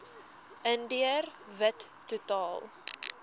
indiër wit totaal